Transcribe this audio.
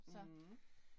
Mh